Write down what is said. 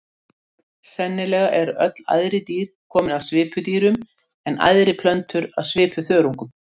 Sennilega eru öll æðri dýr komin af svipudýrum en æðri plöntur af svipuþörungum.